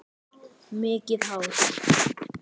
Mikið hár.